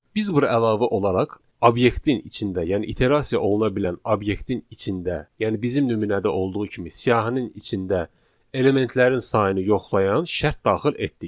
Biz bura əlavə olaraq obyektin içində, yəni iterasiya oluna bilən obyektin içində, yəni bizim nümunədə olduğu kimi siyahının içində elementlərin sayını yoxlayan şərt daxil etdik.